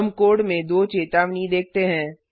हमें कोड में 2 चेतावनी देखते हैं